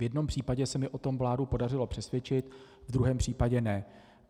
V jednom případě se mi o tom vládu podařilo přesvědčit, v druhém případě ne.